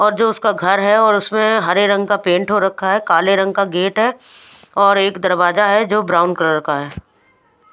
और जो उसका घर है और उसमे हरे रंग का पेंट हो रखा है काले रंग का गेट है और एक दरवाजा है जो ब्राउन कलर का है.